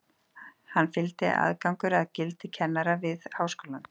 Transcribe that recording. Henni fylgdi aðgangur að gildi kennara við háskólann.